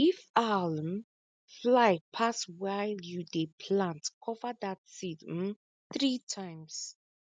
if owl um fly pass while you dey plant cover that seed um three times